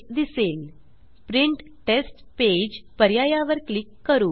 print test page print test पेजपर्याया वर click करू